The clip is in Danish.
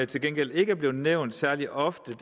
til gengæld ikke er blevet nævnt særlig ofte